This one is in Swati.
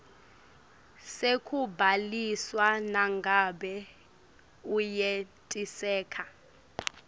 sekubhaliswa nangabe uyenetiseka